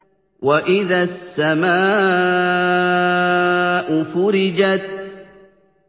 وَإِذَا السَّمَاءُ فُرِجَتْ